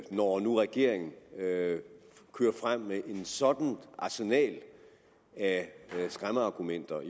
når nu regeringen kører frem med et sådant arsenal af skræmmeargumenter